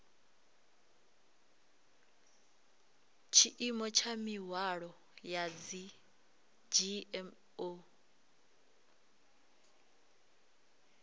tshiimo tsha mihwalo ya dzgmo